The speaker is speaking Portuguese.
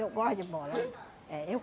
Eu gosto de bola. É, eu